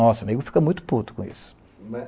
Nossa, amigo, fica muito puto com isso.